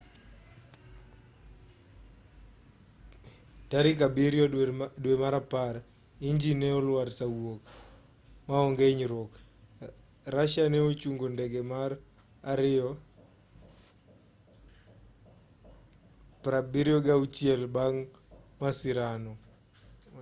tarik 7 dwe mar apar injin ne olwar saa wuok maonge inyruok russia ne ochngo ndege mar ii-76s bang' masirano